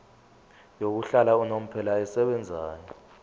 yokuhlala unomphela esebenzayo